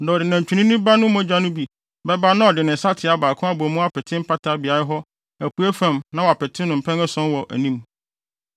Na ɔde nantwinini ba no mogya no bi bɛba na ɔde ne nsateaa baako abɔ mu apete mpata beae hɔ apuei fam na wapete no mpɛn ason wɔ anim.